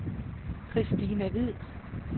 Kristina Hvid